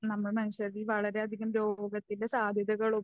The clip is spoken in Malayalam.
നമ്മൾ മനുഷ്യരിൽ വളരെയധികം രോഗത്തിൻ്റെ സാധ്യതകളും